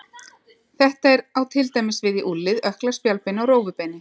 Þetta á til dæmis við í úlnlið, ökkla, spjaldbeini og rófubeini.